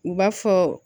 U b'a fɔ